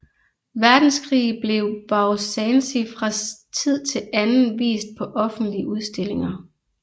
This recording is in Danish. Verdenskrig blev Beau Sancy fra tid til anden vist på offentlige udstillinger